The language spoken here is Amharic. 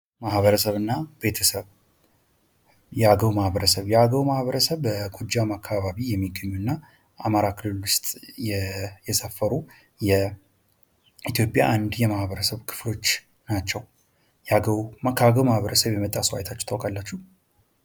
ማኀበረሰብና ቤተሰብ የአገው ማህበረሰብ የአገው ማህበረሰብ በጎጃም አካባቢ የሚገኙና በአማራ ክልል ውስጥ የሰፈሩ የኢትዮጵያ አንድ የማህበረሰብ ክፍሎች ናቸው። ከአገዉ ማህበረሰብ የመጣ ሰው አይታችሁ ታውቃላችሁ።